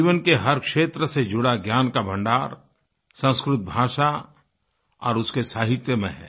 जीवन के हर क्षेत्र से जुड़ा ज्ञान का भण्डार संस्कृत भाषा और उसके साहित्य में है